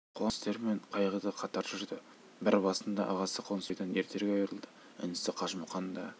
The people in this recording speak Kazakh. қуанышты істер мен қайғы да қатар жүрді бір басында ағасы қонысбайдан ертерек айырылды інісі қажымұқан да